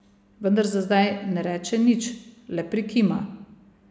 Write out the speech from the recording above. Vendar za zdaj ne reče nič, le prikima.